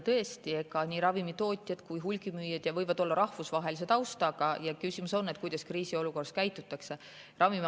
Tõesti, nii ravimitootjad kui hulgimüüjad võivad olla rahvusvahelise taustaga ja küsimus on, kuidas kriisiolukorras käitutakse.